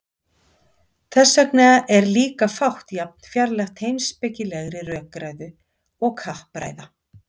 Þess vegna er líka fátt jafn fjarlægt heimspekilegri rökræðu og kappræða.